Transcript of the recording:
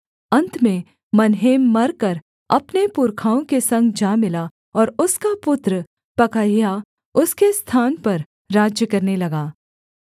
अन्त में मनहेम मरकर अपने पुरखाओं के संग जा मिला और उसका पुत्र पकहयाह उसके स्थान पर राज्य करने लगा